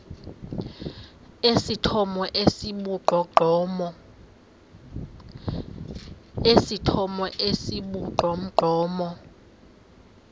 esithomo esi sibugqomogqomo